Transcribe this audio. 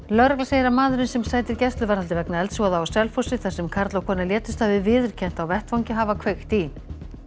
lögregla segir að maðurinn sem sætir gæsluvarðhaldi vegna eldsvoða á Selfossi þar sem karl og kona létust hafi viðurkennt á vettvangi að hafa kveikt í